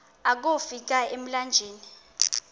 akofi ka emlanjeni